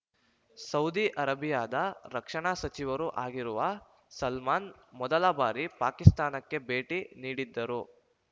Saudi ಅರೇಬಿಯಾದ ರಕ್ಷಣಾ ಸಚಿವರೂ ಆಗಿರುವ ಸಲ್ಮಾನ್‌ ಮೊದಲ ಬಾರಿ ಪಾಕಿಸ್ತಾನಕ್ಕೆ ಭೇಟಿ ನೀಡಿದ್ದರು